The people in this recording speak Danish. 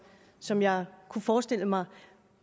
som jeg kunne forestille mig